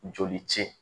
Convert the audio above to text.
Joli ci